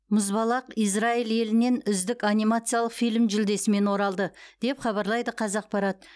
мұзбалақ израиль елінен үздік анимациялық фильм жүлдесімен оралды деп хабарлайды қазақпарат